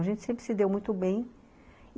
A gente sempre se deu muito bem.